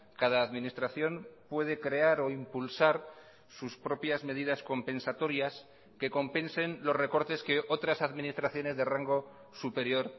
cada administración puede crear o impulsar sus propias medidas compensatorias que compensen los recortes que otras administraciones de rango superior